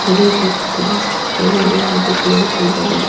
हरी भरी घास छोटे बड़े आगे पेड़ पौधे दिखा--